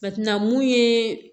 Ka ti na mun ye